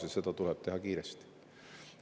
Seda kõike tuleb teha kiiresti.